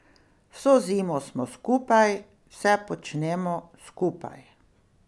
Vso zimo smo skupaj, vse počnemo skupaj.